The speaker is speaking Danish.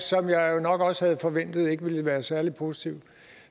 som jeg jo nok også havde forventet ikke ville være særlig positiv